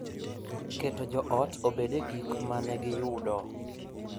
Keto joot obed e gik ma ne giyudo